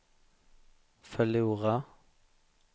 förlora